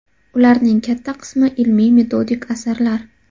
Ularning katta qismi ilmiy-metodik asarlar.